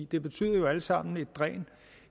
det betyder alt sammen et dræn